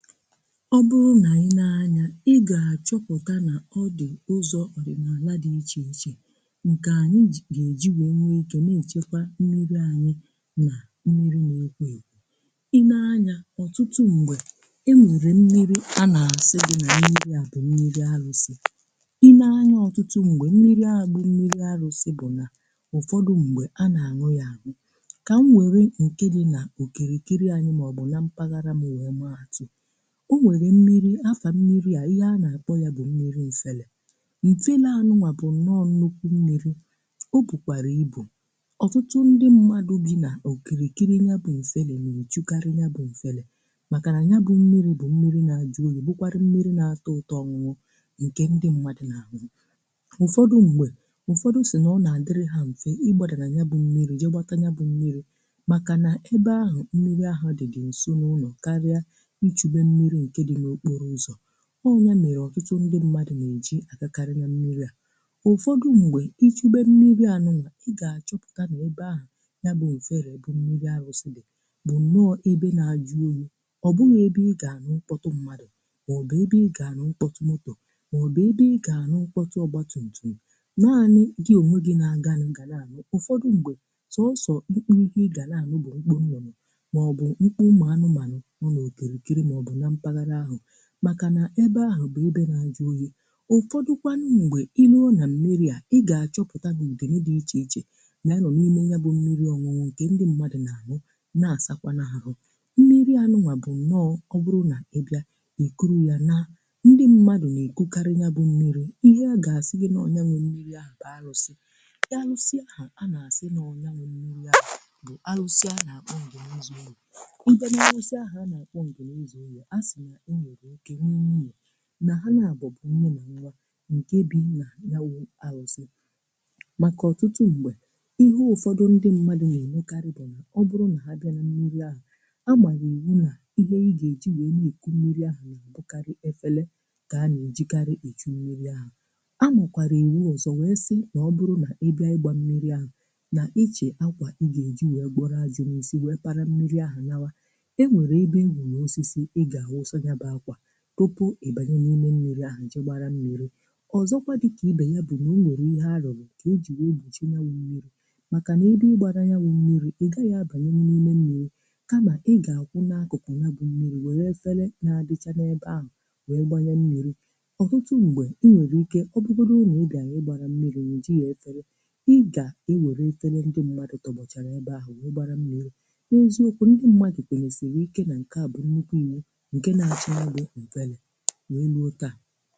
ọ bụrụ nà i nee anya ị gà-achọpụkà nà ọ dị̀ ụzọ̀ orimalà dị iche ichè ǹkè anyị gà-èji wèe nwetọ̀ na-èchekwa mmi̇ri̇ anyị nà mmi̇ri̇ n’ekwo ekwo i nee anya ọ̀tụtụ m̀gbè ị wèrè mmi̇ri̇ anà-àsị dị̀ nà i nii àdụ̀ mmi̇ri̇ alụ̇sị̀ i nee anyị ọtụtụ m̀gbè mmi̇ri̇ agbụ̀ mmi̇ri̇ alụ̇sị̀ bụ̀ nà ụ̀fọdụ m̀gbè anà-àṅụ yȧ kà m wère ǹkèni nà okèrèkere anyị màọbụ̀ na mpaghara ma yà ẹbẹ ẹmẹ àtụ o nweghì mmi̇ri̇ afà mmi̇ri̇ à ihe a nà-àkpọ ya bụ̀ mmi̇ri̇ m̀fẹlẹ̀ mụfẹlẹ um anụwà bụ̀ nọọ̀ nukwu mmi̇ri̇ o bùkwàrì ibù ọtụtụ ndị mmadụ̀ bi nà òkìrìkiri nà ya bụ̀ m̀fẹlẹ̀ nà n’echukarị ya bụ̀ m̀fẹlẹ̀ màkà nà ya bụ̇ mmi̇ri̇ bụ̀ mmi̇ri̇ nà dị oyì bukwara mmi̇ri̇ nà atọ ụtọ nwụ nkè ndị mmadụ̀ n’ahụ̀ ụ̀fọdụ m̀gbè ụ̀fọdụ sì nà ọ nà-àdịrị ha m̀fẹ̀ ịgbȧdȧ nà ya bụ̇ mmi̇ri̇ jėgbàta ya bụ̇ mmi̇ri̇ màkà nà ebe ahụ̀ mmi̇ri̇ ahụ̀ dị dị̀ ǹso n’ụnọ̀ ọọ̀ ya mere ọtụtụ ndị mmadụ̀ nà-èji àkàkarị ya mmi̇ri̇ à ụfọdụ̀ m̀gbè ichebe mmibe anụlà ị gà-àchọpụ̀ta n’ebe ahụ̀ ya bụ̀ ùfere bụ mmi̇ri̇ arụ̀sịdị̀ bụ̀ nọọ̀ ebe na-adị oyì ọ̀ bụghị̀ ebe ị gà-ànụ ụkpọtụ mmadụ̀ màọ̀bụ̀ ebe ị gà-ànụ ụkpọtụ ọgbọtụ̀ntụ̀ m̀ gaa nị̇ gi ònwe gi na-aga n’agà na-anụ̀ ụfọdụ̀ m̀gbè tọọsọ̀ ịkpụrụ ike ị gà na-ànụ bụ̀ mkpụ nnụnụ̀ makà na ebe ahụ̀ bụ̀ ebe na-azụ onye ụfọdụkwanụ ṁgbè ihuohu na mmi̇ri̇ à i gà-achọpụtà bụ̀ ìgè n’ịchèichè na-anọ̀ n’ime ya bụ̀ mmi̇ri̇ ọ̀nwụnwọ̀ ǹkè ndị mmadụ̀ n’àhụ na-àsakwà na-ahụ̀ mmi̇ri̇ ànụwà bụ̀ m̀nọọ̀ ọwụrụ nà ebìa ìkụrụ̇ ya na ndị̀ mmadụ̀ nà-ègokarị ya bụ̀ mmi̇ri̇ ihe a gà-asị gị̀ na-ọnyenwụ̀ mmi̇ri̇ à bàalụsị ịalụsị ahụ̀ a na-asị nà ọnya nwem mmi̇ri̇ à bụ̀ alụsị a nà-àkpọ ǹgè nzù iù ǹgè nà-àkpọ ǹgè nzù iù na ha nà-abụ̀bụ̀ nne na nwa nke bina yawụ asị̀ um màkà ọtụtụ ugbò ihe ụfọdụ ndị mmadụ̀ na-enwekarị bụ̀ nà ọ bụrụ na ha bịara mmi̇ri̇ ahụ̀ amalà iwu nà ihe ị gà-èji wee n’eku mmi̇ri̇ ahụ̀ na-abụkarị efere ka a na-ejikarị echi mmi̇ri̇ ahụ̀ a nọkwara iwu ọzọ̀ wee sị na ọ bụrụ nà ị gbaa mmi̇ri̇ ahụ̀ na ichè akwà ị gà-èji wee gbọrọ azị n’isi wee para mmi̇ri̇ ahụ̀ nawa kọpụ̀ ịbà nà-eme mmi̇ri̇ ahụ̀ ji gbàra mmi̇ri̇ ọzọkwà dịkà ibè ya bụ̀ nà u nwèrè ihe alọ̀ gị̀ ka e jì wee gbuchinwuo màkà nà ebe ị gbàrà ya bụ̀ mmi̇ri̇ ị gà ya bà nà-eme mmi̇ri̇ kamà ị gà-akwụ̀ nà agụ̀kụ̀ ya bụ̀ mmi̇ri̇ wère fele na-abịcha n’ebe ahụ̀ wee gbà nye mmi̇ri̇ ọ̀tụtụ ṁgbe ị nwèrè ike ọ bụ̀gbọ̀rọ̀ ụnọ̀ ebì ahụ̀ ugbàrà mmi̇ri̇ nwè ji ya etere ị gà e wère etere ndị mmadụ̀ tọ̀bọ̀chà n’ebe ahụ̀ wee gbàra mmi̇ri̇ n’eziokwu ndị mmadụ̀ kwénèsì wèe ike nà ǹke à bụ̀ nrụgbo ihe n’enu otu a